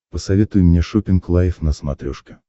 посоветуй мне шоппинг лайф на смотрешке